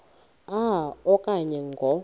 a okanye ngo